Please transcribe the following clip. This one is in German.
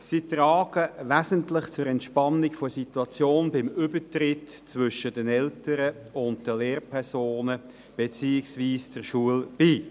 Sie tragen wesentlich zur Entspannung der Situation beim Übertritt zwischen den Eltern und der Lehrpersonen beziehungsweise der Schule bei.